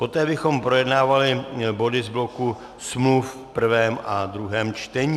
Poté bychom projednávali body z bloku smluv v prvém a druhém čtení.